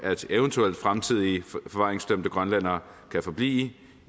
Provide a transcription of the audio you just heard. at eventuelle fremtidige forvaringsdømte grønlændere kan forblive i